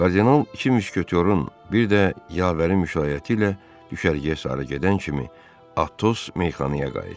Kardinal iki müşketörün bir də yavərin müşaiyəti ilə düşərgəyə sarı gedən kimi Atos meyxanaya qayıtdı.